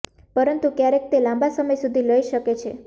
પરંતુ ક્યારેક તે લાંબા સમય સુધી લઇ શકે છે